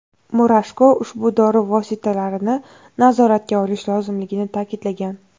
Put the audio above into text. Murashko ushbu dori vositalarini nazoratga olish lozimligini ta’kidlagan.